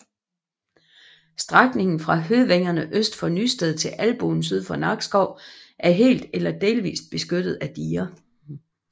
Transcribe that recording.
Strækningen fra Høvængerne øst for Nysted til Albuen syd for Nakskov er helt eller delvist beskyttet af diger